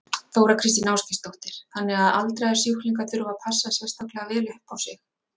Þóra Kristín Ásgeirsdóttir: Þannig að aldraðir sjúklingar þurfa að passa sérstaklega vel upp á sig?